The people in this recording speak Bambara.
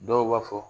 Dɔw b'a fɔ